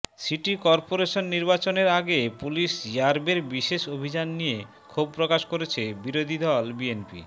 city corporation নির্বাচনের আগে পুলিশ র্যাবের বিশেষ অভিযান নিয়ে ক্ষোভ প্রকাশ করেছে বিরোধীদল বিএনপি